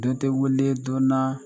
Dɔ tɛ wuli don na